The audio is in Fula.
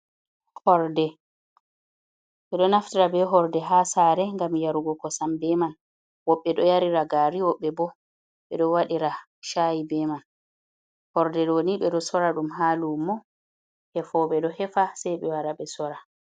Hirde ɓe ɗo naftira bee horde haa saare ngam yarugo kosam bee man woɓɓe ɗo yarira gaari, woɓbe boo be ɗo wadira chayi bee man, horde nii ɓe ɗo soora ɗum haa luumo hefooɓe ɗo hefa sai ɓe wara ɓe sora.